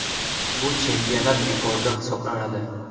Bu chempionat rekordi hisoblanadi.